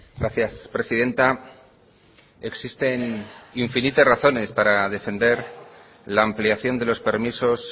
gracias presidenta existen infinitas razones para defender la ampliación de los permisos